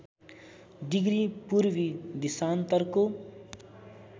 degree पूर्वी देशान्तरको